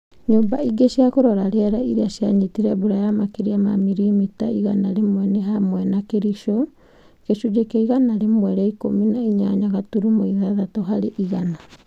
Nyũmba ingĩ cia kũrora riera iria cianyitire mbura ya makĩria ma mirimita igana rĩmwe nĩ hamwe na Kericho (gĩcunjĩ kĩa igana rĩmwe rĩa ikũmi na inya gaturumo ithathatũ harĩ igana)